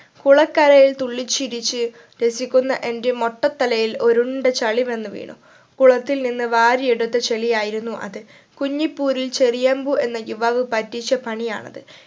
കുളക്കരയിൽ തുള്ളി ചിരിച്ച് രസിക്കുന്ന എന്റെ മൊട്ടത്തലയിൽ ഒരുണ്ട ചളി വന്നു വീണു കുളത്തിൽ നിന്ന് വാരിയെടുത്ത ചളി ആയിരുന്നു അത് കുഞ്ഞിപൂരിൽ ചെറിയമ്പൂ എന്ന യുവാവ് പറ്റിച്ച പണിയാണത്